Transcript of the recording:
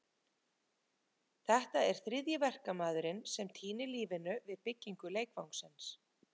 Þetta er þriðji verkamaðurinn sem týnir lífinu við byggingu leikvangsins.